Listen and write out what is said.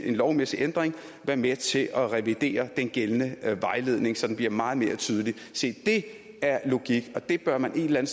en lovmæssig ændring være med til at revidere den gældende vejledning så den bliver meget mere tydelig se det er logik og det bør man et eller